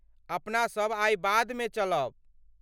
अपनासभ आइ बादमे चलब।